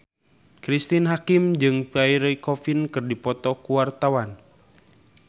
Cristine Hakim jeung Pierre Coffin keur dipoto ku wartawan